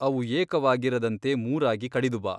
ಅವು ಏಕವಾಗಿರದಂತೆ ಮೂರಾಗಿ ಕಡಿದು ಬಾ.